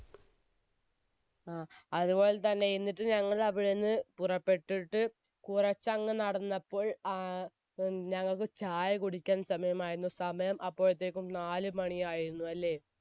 ങ്ഹാ. അതുപോലെ തന്നെ എന്നിട്ട് ഞങ്ങൾ അവിടെ നിന്നും പുറപ്പെട്ടിട്ട് കുറച്ചങ്ങ് നടന്നപ്പോൾ ആഹ് ഞങ്ങൾക്ക് ചായകുടിക്കാൻ സമയമായി, സമയം അപ്പോയെക്കും നാലുമണി ആയിരുന്നു അല്ലേ?